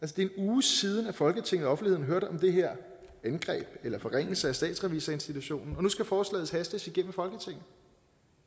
det er en uge siden at folketinget og offentligheden hørte om den her forringelse af statsrevisorinstitutionen og nu skal forslaget hastes igennem folketinget